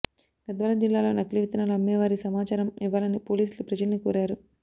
గద్వాల జిల్లాలో నకిలీ విత్తనాలు అమ్మేవారి సమాచారం ఇవ్వాలని పోలీసులు ప్రజల్ని కోరారు